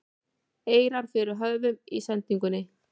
eirar fyrir höfum í sendingunni